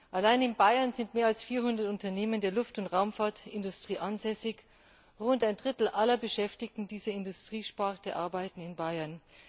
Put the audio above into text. Allein in Bayern sind mehr als 400 Unternehmen der Luft und Raumfahrtindustrie ansässig, rund ein Drittel aller Beschäftigten dieser Industriesparte arbeiten in Bayern.